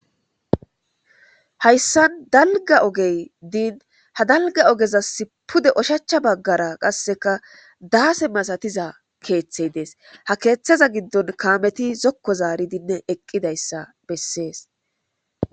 Haysan dalga ogey din ha dalga ogezas pude oshacha bagara qaseka dase masatizi kethay des ha kethaza gidon kameti zoko zaridi eqidaysa beses.